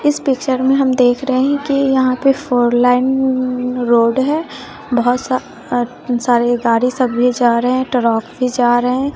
इस पिक्चर में हम देख रहे है कि यहाँ पे फोर लाइन अम्म रोड है बहुत सा सारे गाड़ी सब भी जा रहे हैं ट्रक भी जा रहे हैं।